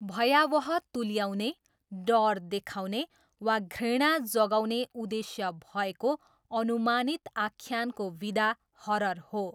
भयावह तुल्याउने, डर देखाउने वा घृणा जगाउने उद्देश्य भएको अनुमानित आख्यानको विधा हरर हो।